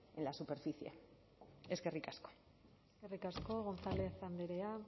en la superficie eskerrik asko eskerrik asko gonzález andrea